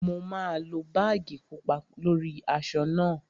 Mo máa lo báàgì pupa lórí aṣọ náà